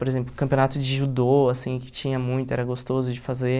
Por exemplo, o campeonato de judô assim, que tinha muito, era gostoso de fazer.